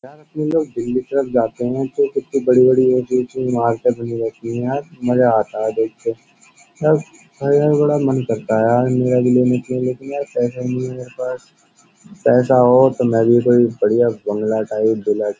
इतने लोग दिल्ली तरफ जाते हैं तो कितनी बड़ी बड़ी वो इमारत बनी रहती है यार मजा आता है देख के अब बड़ा मन करता है यार मेरा भी लेना चाहिए लेकिन यार पैसा नहीं है मेरे पास पैसा हो तो मैं भी कोई बढ़िया बंगला टाइप दिला --